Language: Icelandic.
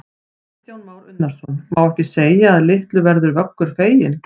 Kristján Már Unnarsson: Má ekki segja að litlu verður Vöggur feginn?